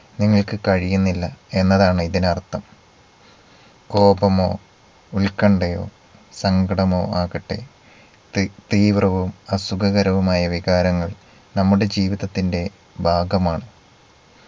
നിങ്ങൾക്ക് കഴിയുന്നില്ല എന്നതാണ് ഇതിനർത്ഥം. കോപമോ ഉത്കണ്ഠയോ സങ്കടമോ ആകട്ടെ തീ തീവ്രവും അസുഖകരവുമായ വികാരങ്ങൾ നമ്മുടെ ജീവിതത്തിന്റെ ഭാഗമാണ്.